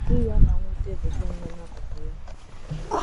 Di ya ọ na - nwute, bụ́ John, nọ n’akụkụ ya.